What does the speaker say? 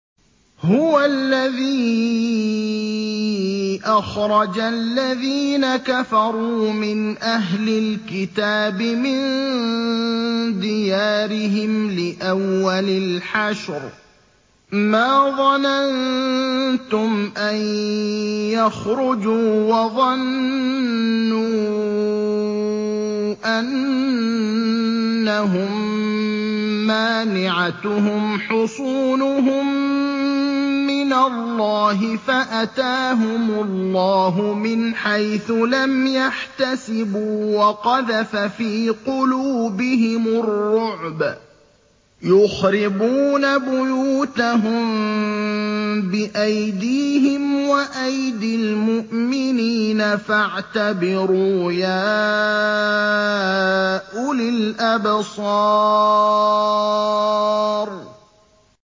هُوَ الَّذِي أَخْرَجَ الَّذِينَ كَفَرُوا مِنْ أَهْلِ الْكِتَابِ مِن دِيَارِهِمْ لِأَوَّلِ الْحَشْرِ ۚ مَا ظَنَنتُمْ أَن يَخْرُجُوا ۖ وَظَنُّوا أَنَّهُم مَّانِعَتُهُمْ حُصُونُهُم مِّنَ اللَّهِ فَأَتَاهُمُ اللَّهُ مِنْ حَيْثُ لَمْ يَحْتَسِبُوا ۖ وَقَذَفَ فِي قُلُوبِهِمُ الرُّعْبَ ۚ يُخْرِبُونَ بُيُوتَهُم بِأَيْدِيهِمْ وَأَيْدِي الْمُؤْمِنِينَ فَاعْتَبِرُوا يَا أُولِي الْأَبْصَارِ